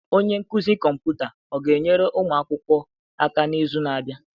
Onye nkuzi kọmputa ọ ga-enyere ụmụ akwụkwọ aka n'izu na-abịa?